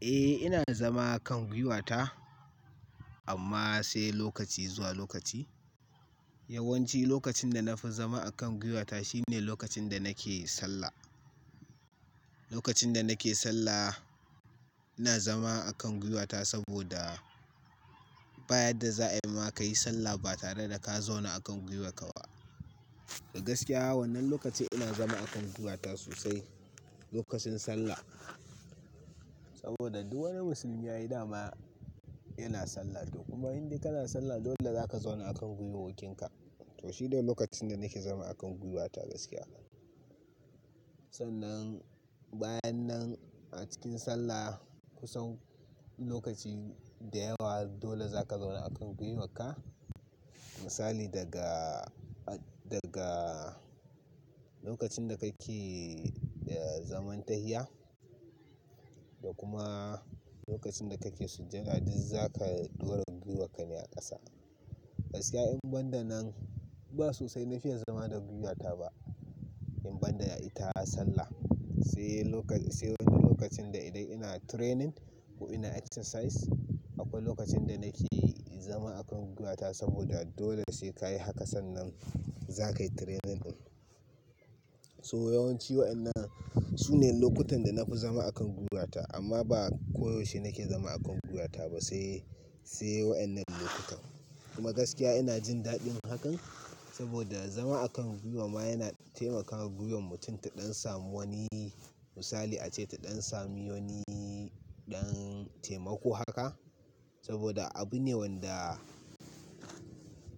Eh ina zama a kan gwiwata amma sai lokaci zuwa lokaci. Yawanci lokacin da na fi son zama a kan gwiwata shine lokacin da nake sallah. Lokacin da nake sallah ina zama a kan gwiwata saboda bayan da za a yi ma ka yi sallah ba tare da ka zauna a kan gwiwarka ba. Da gaskiya wannan lokaci ina zama a kan gwiwata sosai lokacin sallah. Saboda duk wani musulmi a yi dama yana sallah toh kuma idan kana sallah dole zaka zauna a kan gwiwoyinka. To shine lokacin da nake zama a kan gwiwata gaskiya. Sannan bayan nan a cikin sallah kusan lokaci da yawa dole zaka zauna a kan gwiwarka. Misali daga, daga lokacin da kake zaman tahiya da kuma lokacin da kake sujudadi zaka dora gwiwarka ne a ƙasa. Gaskiya in ban da nan ba sosai na fiya zama da gwiwata ba in ban da ita sallah. Sai wani lokacin da idan ina training ko ina exercise akwai lokacin da nake zama a kan gwiwata saboda dole sai ka yi haka sannan zakayi training ɗin. So yawanci waɗannan su ne lokutan da na fi zama a kan gwiwata amma ba koyaushe nake zama a kan gwiwata ba sai, sai waɗannan lokutan. Kuma gaskiya ina jin daɗin hakan saboda zama a kan gwiwa ma yana taimakawa giyan mutum ta ɗan samu wani misali ace ta ɗan sami wani ɗan taimako haka saboda abu ne wanda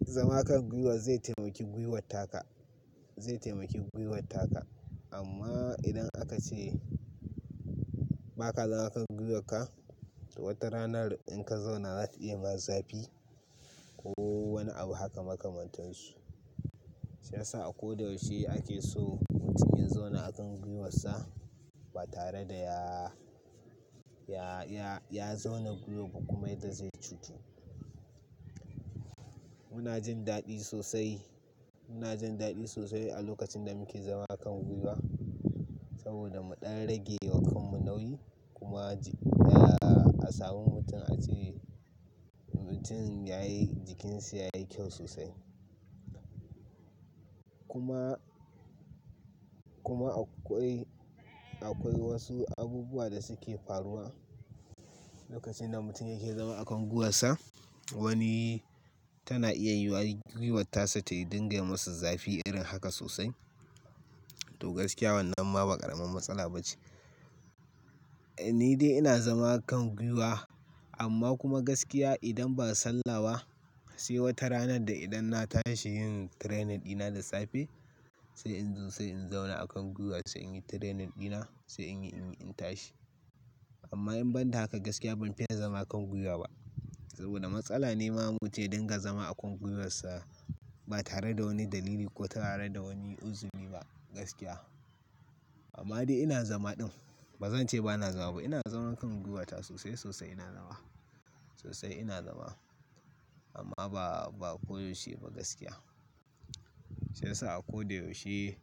zama a kan gwiwa zai taimaki gwiwata ka, zai taimaki gwiwata ka. Amma idan aka ce ba ka zama a kan gwiwarka to wata rana in ka zauna za ta iya yi masa zafi ko wani abu haka maka mantansu. Shiyasa a ko da yaushe ake so mutum ya zauna a kan gwiwarsa ba tare da ya, ya, ya zauna gwiwo ba kuma ita zai cutu. Muna jin daɗi sosai. Muna jin daɗi sosai a lokacin da muke zama a kan gwiwa saboda mu ɗan rage wa kanmu nauyi kuma a samu mutum ace mutum yayi jikinsa yayi kyau sosai. Kuma, kuma akwai, akwai wasu abubuwa da suke faruwa lokacin da mutum yake zama a kan gwiwarsa. Wani tana iya gwiwarsa ta yi dinga yi masa zafi irin haka sosai. To gaskiya wannan ma ba ƙaramin matsala ba ce. Ni dai ina zama a kan gwiwa amma kuma gaskiya idan ba sallah sai wata ranar da idan na tashi yin training ɗina da safe sai in zauna a kan gwiwa sai in yi training ɗina sai in tashi. Amma in ban da haka gaskiya ban fiya zama a kan gwiwa ba saboda matsala ne ma muce dinga zama a kan gwiwarsa ba tare da wani dalili ko tare da wani uzuri ba gaskiya. Amma dai ina zama ɗin. Ba zan ce ba na zama ba. Ina zama a kan gwiwata sosai sosai ina nama. Sosai ina zama amma ba, ba koyaushe ba gaskiya. Shiyasa a ko da yaushe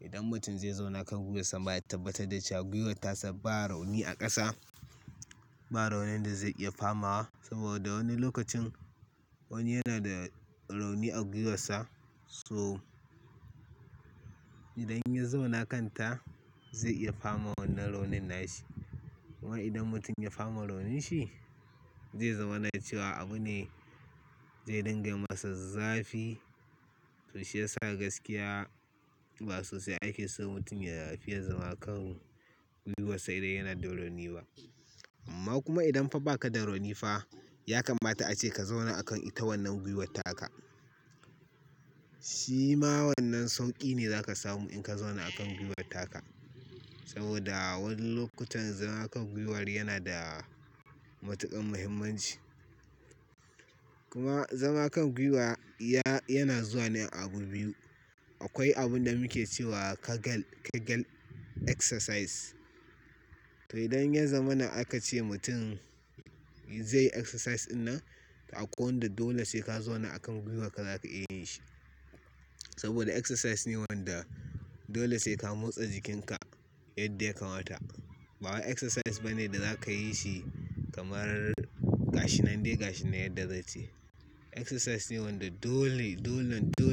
idan mutum zai zauna kan gwiwarsa ma ya tabbatar da cewa gwiwarsa ba rauni a ƙasa. Ba raunin da zai iya fama wa saboda wani lokacin wani yana da rauni a gwiwarsa so idan ya zauna kan ta zai iya fama wannan raunin nashi. Kuma idan mutum ya fama rauninshi zai zama na cewa abu ne zai dinga yi masa zafi. To shiyasa gaskiya ba sosai ake so mutum ya fiya zama a kan gwiwarsa idan yana da rauni ba. Amma kuma idan fa ba ka da rauni fa ya kamata ace ka zauna a kan ita wannan gwiwata ka. Shi ma wannan sauƙi ne za ka samu in ka zauna a kan gwiwata ka. Saboda wasu lokutan zama a kan gwiwar yana da matuƙan muhimmanci. Kuma zama a kan gwiwa ya, yana zuwa ne abu biyu. Akwai abun da muke cewa "Kegel," "Kegel exercise." To idan ya zama nan aka ce mutum zai yi exercise dinnan to a ko da dole sai ka zauna a kan gwiwarka zaka iya yin shi. Saboda exercise ne wanda dole sai ka motsa jikinka yadda ya kamata. Ba exercise bane da zakayi shi kamar gashin nan dai gashin nan yadda zatayi. Exercise ne wanda dole, dole, dole.